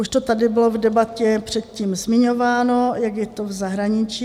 Už to tady bylo v debatě předtím zmiňováno, jak je to v zahraničí.